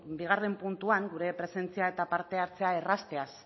bigarren puntuan gure presentzia eta parte hartzea errazteaz